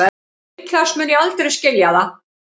Líklegast mun ég aldrei skilja það